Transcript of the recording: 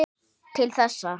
Til þessa.